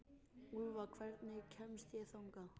Úlfa, hvernig kemst ég þangað?